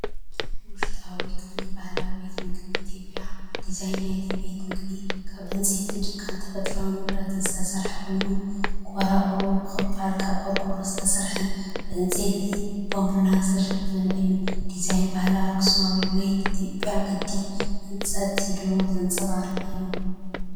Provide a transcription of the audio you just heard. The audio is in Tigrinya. ውሽጣዊ ክፍሊ ባህላዊ ቤት መግቢ ኢትዮጵያ። ዲዛይን ናይቲ ቤት መግቢ ካብ ዕንጨይቲ፡ ጭቃን ተፈጥሮኣዊ ንብረትን ዝተሰርሐ ኮይኑ፡ቆርቆሩኡ ብኸፊል ካብ ቆርቆሮ ዝተሰርሐን ብዕንጨይትን ባምቡላን ዝተሸፈነ እዩ። ዲዛይን ባህላዊ ኣኽሱማዊ ወይ ትግራይ ቅዲ ህንፀት (ህድሞ) ዘንፀባርቕ እዩ።